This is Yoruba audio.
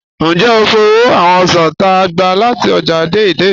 Njẹ́ o fò̩ awọn osàn t'á gba láti ọ́jà Dei-Dei?